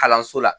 Kalanso la